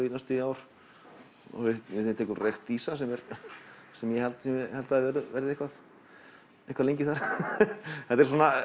í næstum því ár og við tekur reykt ýsa sem sem ég held held að verði eitthvað eitthvað lengi þar þetta er svona